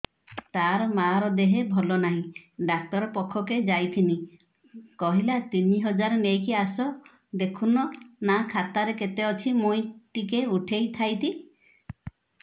ତାର ମାର ଦେହେ ଭଲ ନାଇଁ ଡାକ୍ତର ପଖକେ ଯାଈଥିନି କହିଲା ତିନ ହଜାର ନେଇକି ଆସ ଦେଖୁନ ନା ଖାତାରେ କେତେ ଅଛି ମୁଇଁ ଟିକେ ଉଠେଇ ଥାଇତି